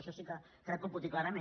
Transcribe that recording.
això sí que crec que ho puc dir clarament